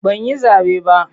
Ban yi zaɓe ba.